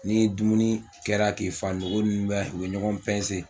N'i ye dumuni kɛra k'i fa nogo ninnu bɛ u bɛ ɲɔgɔn